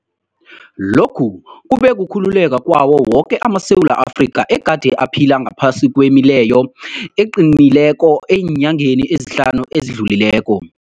Lokhu kube kukhululeka kwawo woke amaSewula Afrika egade aphila ngaphasi kwemileyo eqinileko eenyangeni ezihlanu ezidlulileko.